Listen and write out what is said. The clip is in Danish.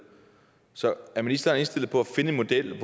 så er ministeren indstillet på at finde en model